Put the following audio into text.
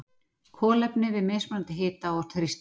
kolefni við mismunandi hita og þrýsting